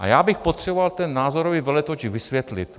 A já bych potřeboval ten názorový veletoč vysvětlit.